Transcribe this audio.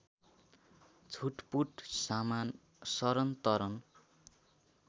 छुटपुट सामान सरनतरन